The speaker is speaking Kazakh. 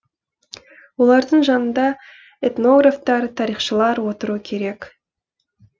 олардың жанында этнографтар тарихшылар отыру керек